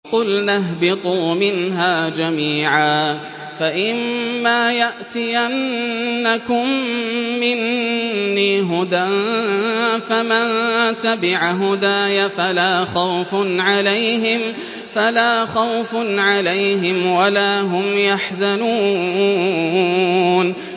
قُلْنَا اهْبِطُوا مِنْهَا جَمِيعًا ۖ فَإِمَّا يَأْتِيَنَّكُم مِّنِّي هُدًى فَمَن تَبِعَ هُدَايَ فَلَا خَوْفٌ عَلَيْهِمْ وَلَا هُمْ يَحْزَنُونَ